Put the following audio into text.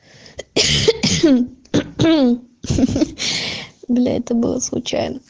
бля это было случайно